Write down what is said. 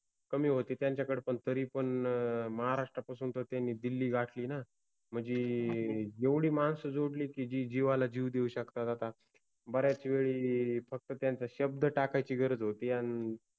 कमि होते त्यांच्याकडे पन तरिपन महाराष्ट्रापासुन तर त्यानि दिल्लि गाठलि न, मनजि एवढि माणस जोडलि कि जि जिवाला जिव देउ शकतात आता. बऱ्याच वेळी फक्त त्यांचा शब्द टाकायचि गरज होति अन